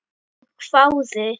Hún hváði.